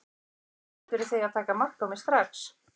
Það er eins gott fyrir þig að taka mark á mér strax.